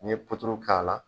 N ye puturu k'a la.